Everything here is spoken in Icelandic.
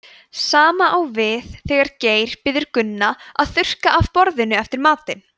sama á við þegar geir biður gunna að þurrka af borðinu eftir matinn